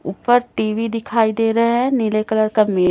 ऊपर टी_वी दिखाईं दे रहे है नीले कलर का--